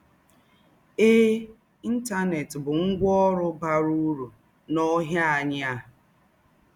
Èè, Íntánẹ́t bụ́ ngwạ́ ǒrụ́ bàrà ứrụ̀ n’ǒhá ànyí̀ à.